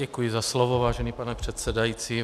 Děkuji za slovo, vážený pane předsedající.